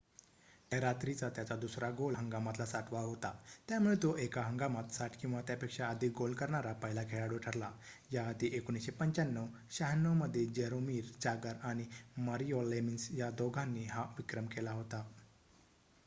त्या रात्रीचा त्याचा दुसरा गोल हंगामातला ६० वा होता. त्यामुळे तो एका हंगामात ६० किंवा त्यापेक्षा अधिक गोल करणारा पहिला खेळाडू ठरला याआधी १९९५-९६ मध्ये जरोमिर जागर आणि मारिओ लेमिन्स या दोघांनी हा विक्रम केला होता